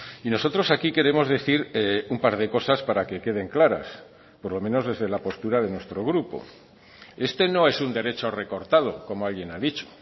y nosotros aquí queremos decir un par de cosas para que queden claras por lo menos desde la postura de nuestro grupo este no es un derecho recortado como alguien ha dicho